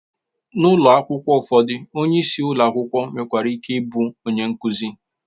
N'ụlọ akwụkwọ ụfọdụ, onyeisi ụlọ akwụkwọ nwekwara ike ịbụ onye nkuzi